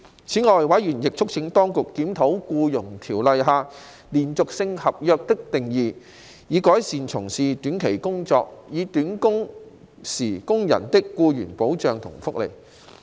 此外，委員亦促請當局檢討《僱傭條例》下"連續性合約"的定義，以改善從事短期工作，或短工時工人的僱傭保障和福利。